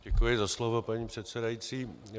Děkuji za slovo, paní předsedající.